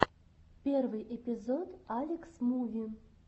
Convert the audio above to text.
первый эпизод алекс муви